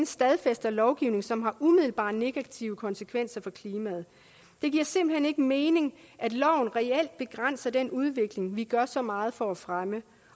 stadfæster lovgivning som har umiddelbare negative konsekvenser for klimaet det giver simpelt hen ikke mening at loven reelt begrænser den udvikling vi gør så meget for at fremme